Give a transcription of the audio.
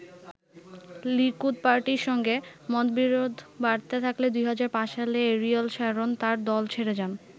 Likud পার্টির সঙ্গে মতবিরোধ বাড়তে থাকলে ২০০৫ সালে অ্যারিয়েল শ্যারন তার দল ছেড়ে যান।